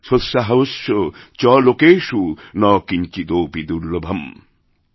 সোৎসাহস্যচ লোকেষু ন কিঞ্চিদপি দুর্লভম্